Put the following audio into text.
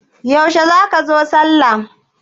Yaushe za ka zo sallah?